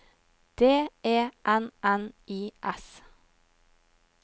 D E N N I S